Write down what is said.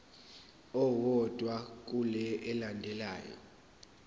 owodwa kule elandelayo